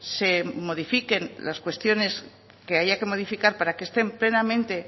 se modifiquen las cuestiones que haya que modificar para que estén plenamente